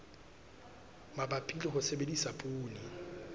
mabapi le ho sebedisa poone